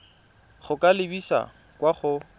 go ka lebisa kwa go